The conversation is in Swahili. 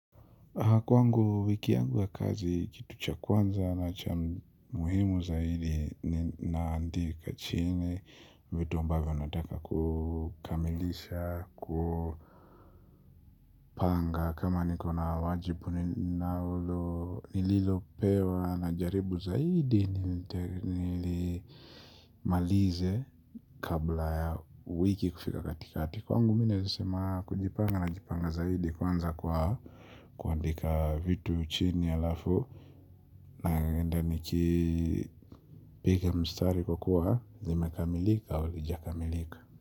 Kwangu wiki yangu ya kazi kitu cha kwanza na cha muhimu zaidi naandika chini vitu ambavyo nataka kukamilisha kupanga kama nikona wajibu na ulo nililopewa na jaribu zaidi nilimalize kabla ya wiki kufika katikati kwangu mimi nawezasema kujipanga na jipanga zaidi kwanza kwa kuandika vitu chini alafu naenda nikipiga mstari kukuwa zimekamilika walijakamilika.